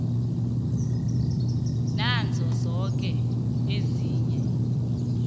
nazo zoke ezinye